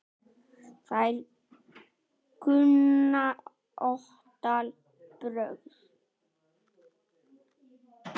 Þær kunna ótal brögð.